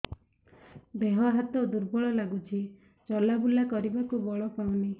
ଦେହ ହାତ ଦୁର୍ବଳ ଲାଗୁଛି ଚଲାବୁଲା କରିବାକୁ ବଳ ପାଉନି